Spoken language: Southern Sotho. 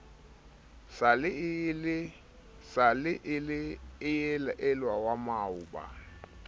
sa le elwa wa maoba